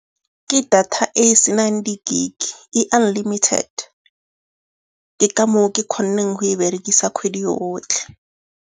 Ke data e e senang di-gig-e, e unlimited. Ke ka moo ke kgonneng go e berekisa kgwedi yotlhe.